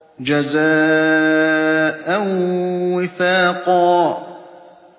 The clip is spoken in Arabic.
جَزَاءً وِفَاقًا